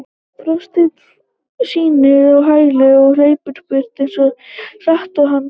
Forsetinn snýst á hæli og hleypur burt eins hratt og hann getur.